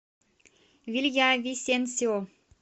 вильявисенсио